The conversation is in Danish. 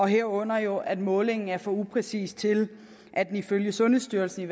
herunder jo at målingen er for upræcis til at den ifølge sundhedsstyrelsen